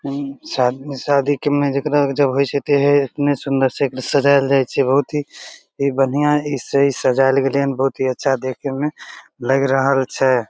एतने सुन्दर से एकरा सजायल जाय छै बहुत ही बढ़िया से ई सजल गेले या बहुत ही अच्छा देखे मे लग रहा छै।